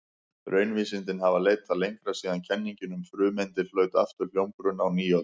Raunvísindin hafa leitað lengra síðan kenningin um frumeindir hlaut aftur hljómgrunn á nýöld.